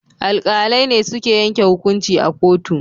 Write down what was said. Alkalai ne suke yanke hukunci a kotu